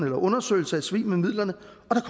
en undersøgelse af svig med midlerne